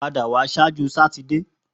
Pada wa ṣaaju Satidee!